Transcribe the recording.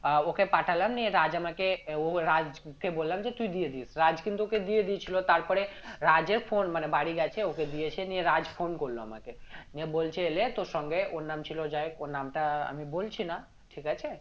আহ ওকে পাঠালাম নিয়ে রাজ্ আমাকে ও রাজকে বললাম যে তুই দিয়ে দিস রাজ্ কিন্তু ওকে দিয়ে দিয়েছিলো তারপরে রাজের phone মানে বাড়ি গেছে ওকে দিয়েছে নিয়ে রাজ্ phone করলো আমাকে নিয়ে বলছে এলে তোর সঙ্গে ওর নাম ছিল যাই ওর নামটা আমি বলছি না ঠিক আছে